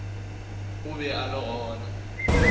o be a le gona